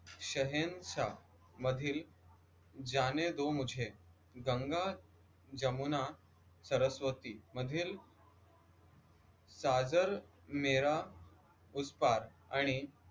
शहेंशा मधील जाने दो मुझे गंगा जमुना सरस्वती मधील साजन मेरा उस पार आणि